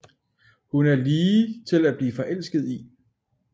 Hun er lige til at blive forelsket i